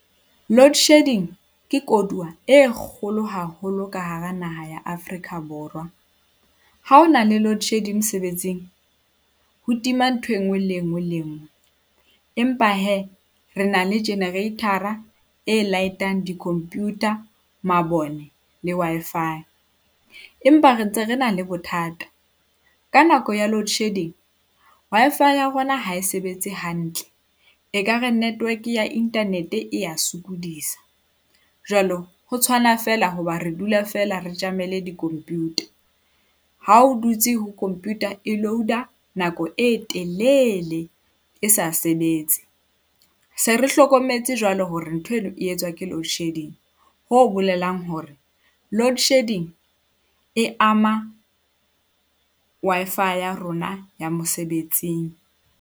Loadshedding ke koduwa e kgolo haholo ka hara naha ya Afrika Borwa. Ha ho na le loadshedding mosebetsing ho tima ntho e nngwe le e nngwe le e nngwe. Empa hee re na le generator-ra e light-a di-computer, mabone le Wi-Fi, empa re ntse re na le bothata ka nako ya loadshedding, Wi-Fi ya rona ha e sebetse hantle, ekare network ya internet e ya sokodisa. Jwalo ho tshwana feela hoba re dula feela re tjamele computer, ha o dutse ho computer e load-a nako e telele e sa sebetse. Se re hlokometse jwalo hore ntho eno e etswa ke loadshedding, ho bolelang hore loadshedding e ama Wi-Fi ya rona ya mosebetsing.